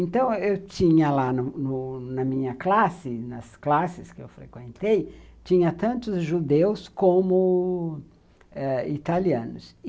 Então, eu tinha lá no na minha classe, nas classes que eu frequentei, tinha tanto judeus como ãh italianos.